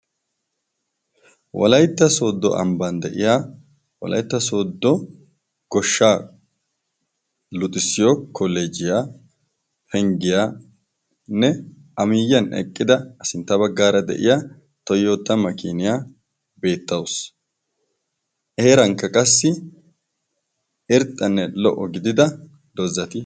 walaytta sooddo ambban de'iya wolaytta sooddo goshshaa luxissiyo kolejiyaa penggiyaanne amiyiyan eqqida asintta baggaara de'iya toyotama makiniyaa beettaus eerankka qassi irxxanne lo"o gidida dozzati